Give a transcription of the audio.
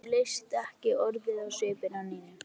Honum leist ekki orðið á svipinn á Nínu.